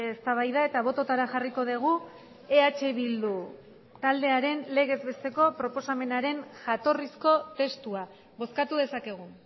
eztabaida eta bototara jarriko dugu eh bildu taldearen legez besteko proposamenaren jatorrizko testua bozkatu dezakegu